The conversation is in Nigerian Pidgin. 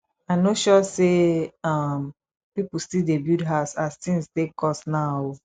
i no sure sey um pipu still dey build house as tins take cost now o